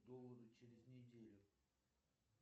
доллара через неделю